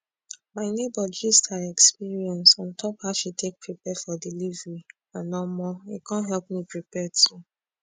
my neighbor gist her experience on top how she take prepare for delivery and omo e con help me prepare too